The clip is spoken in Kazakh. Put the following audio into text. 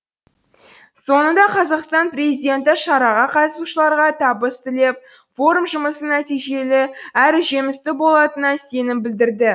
соңында қазақстан президенті шараға қатысушыларға табыс тілеп форум жұмысы нәтижелі әрі жемісті болатынына сенім білдірді